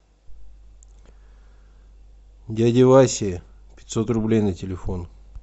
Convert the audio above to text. дяде васе пятьсот рублей на телефон